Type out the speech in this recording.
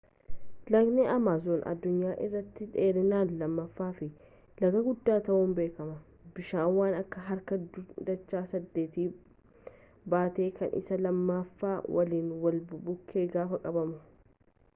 lagni amaazoon addunyaa irratti dheerinaan lammaffaa fi laga guddaa ta'uun beekama bishaan waan akka harka dacha 8 baata kan isaa lammaffaa waliin wal bukkee gaafa qabamu